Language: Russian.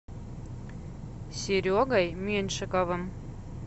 серегой меньшиковым